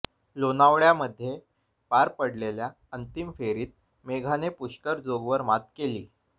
लोणावळामध्ये पार पडलेल्या अंतिम फेरीत मेघाने पुष्कर जोगवर मात केली